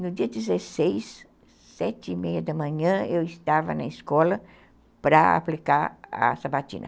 No dia dezesseis, sete e meia da manhã, eu estava na escola para aplicar a sabatina.